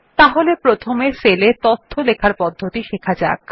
তাহলে প্রথমে cell এ তথ্য লেখার পদ্ধতি শেখা যাক